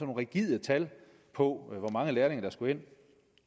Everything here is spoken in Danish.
rigide tal på hvor mange lærlinge der skulle ind